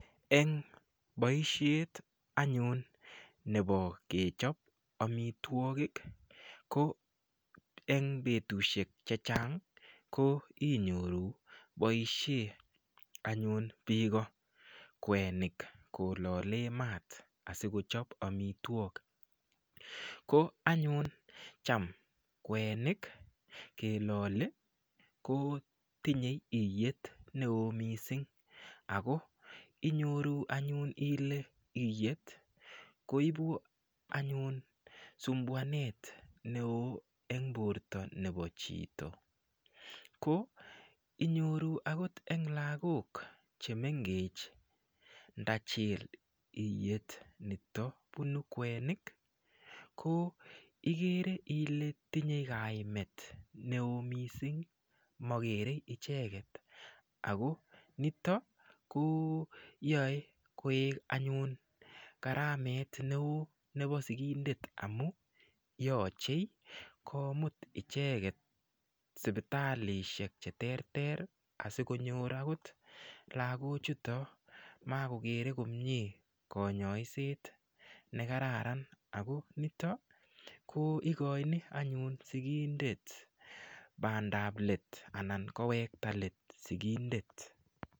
Eng boishet anyun nebo kechop omitwokik ko eng betushek che chang ko inyoru boishet anyun biiko kwenik kololee maat asikochop amitwok ko anyun cham kwenik keloli ko tinyei iyet neo mising ako inyoru anyun ile iyet koibu anyun sumbuanet neo eng borta nebo chito ko inyoru akot eng lakok chemengech ndachil iyet nito bunu kwenik ko igere ile tinyei kaimet neo mising makerkei icheket ako nitok ko yoei koek anyun garamet neo nebo sikindet amu yochei komut icheket sipitalishek che ter ter asikonyor akot lakochutok makokerei komie konyoiset ne kararan ako nito ko ikoini anyun sikindet bandapket anan kowekta let sikindet.